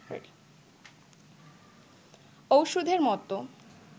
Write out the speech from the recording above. ঔষধের মতো